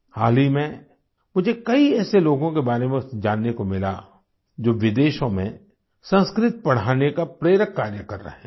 हाल ही में मुझे कई ऐसे लोगों के बारे में जानने को मिला जो विदेशों में संस्कृत पढ़ाने का प्रेरक कार्य कर रहे हैं